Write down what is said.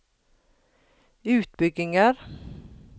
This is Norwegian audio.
utbygginger